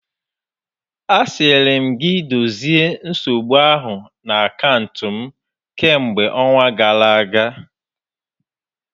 Asịrị m gị dozie nsogbu ahụ na akaụntụ m kemgbe ọnwa gara aga!